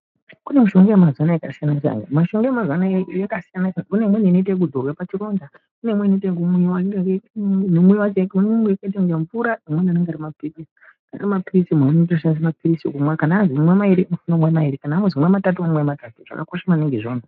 Kune mushonga wemazino wakasiyana siyana kune imweni inoitwa zvekuzorwa pachironda kune imweni inoitwa yekumwiwa imweni inenge yakaita mvura imweni inenge yakaita mapirizi munhu atoshandisa mapirizi kumwa mairi womwa mairi kana wanzi imwa matatu womwa matatu zvakakosha maningi izvozvo.